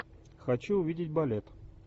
хочу увидеть балет